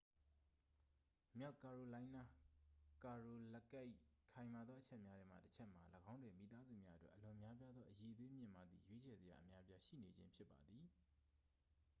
မြောက်ကာရိုလိုင်းနား ကာရိုလက်တ် ၏ ခိုင်မာသောအချက်များထဲမှတစ်ချက်မှာ ၎င်းတွင် မိသားစုများအတွက် အလွန်များပြားသော အရည်အသွေးမြင့်မားသည့် ရွေးချယ်စရာအများအပြားရှိနေခြင်း ဖြစ်ပါသည်